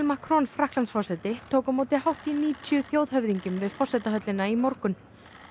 Macron Frakklandsforseti tók á móti hátt í níutíu þjóðhöfðingjum við forsetahöllina í morgun